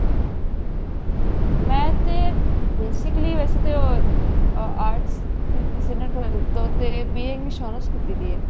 ਮੈਂ ਤੇ basically ਵੇਸੇ ਤੇ arts ਹੀ ਕੀਤੀ ਸੀ ਨਾ twelfth ਤੋਂ ਤੇ BA